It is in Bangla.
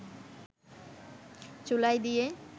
চুলায় দিয়ে